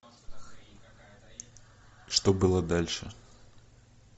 что было дальше